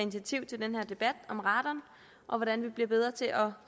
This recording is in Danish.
initiativ til den her debat om radon og hvordan vi bliver bedre til at